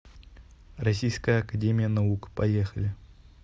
российская академия наук поехали